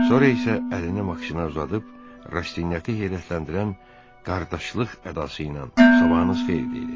Sonra isə əlini Maksimə uzadıb Rastinyakı heyrətləndirən qardaşlıq ədası ilə "Sabahınız xeyir!" dedi.